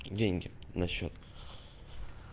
деньги на счёт